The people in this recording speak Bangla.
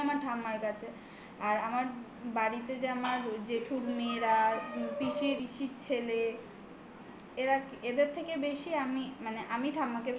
আমার ঠাম্মার কাছে। আর আমার বাড়িতে যে আমার জেঠুর মেয়েরা পিসি শিশির ছেলে এরা এদের থেকে বেশি আমি মানে আমি